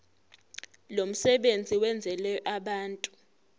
lomsebenzi wenzelwe abantu